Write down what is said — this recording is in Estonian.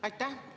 Aitäh!